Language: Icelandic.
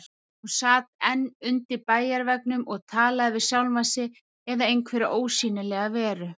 Hún sat enn undir bæjarveggnum og talaði við sjálfa sig eða einhverja ósýnilega veru.